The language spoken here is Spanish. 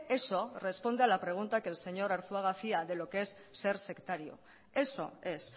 eso responde a la pregunta que el señor arzuaga hacía de lo qué es ser sectario eso es